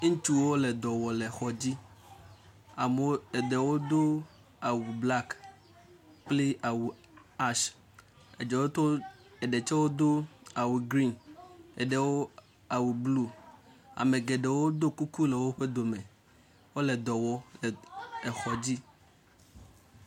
Ŋutsuwo le dɔ wɔm le xɔ dai. Amewo eɖewo do awu blak kple awu ashe eɖewo eɖe tsewo do awu grim eɖewo awu blu. Ame gɖewo do kuku le woƒe do me wole edɔɔ wɔm exɔ dzi.